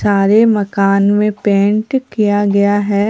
सारे मकान में पेंट किया गया है।